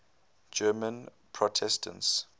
german protestants